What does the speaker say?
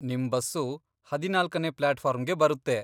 ನಿಮ್ ಬಸ್ಸು ಹದಿನಾಲ್ಕನೇ ಪ್ಲಾಟ್ಫಾರ್ಮ್ಗೆ ಬರುತ್ತೆ.